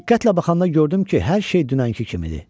Diqqətlə baxanda gördüm ki, hər şey dünənki kimidir.